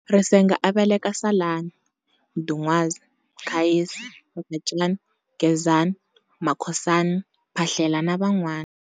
Risenga a veleka Salani, Mdun'wazi, Mkhayisi, Mkhacani, Gezani, Makhosani, Phahlela na vanwana.